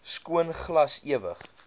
skoon glas ewig